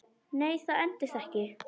Nei, það endist ekki.